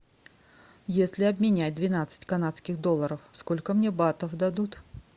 если обменять двенадцать канадских долларов сколько мне батов дадут